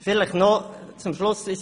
Vielleicht noch zum Schluss: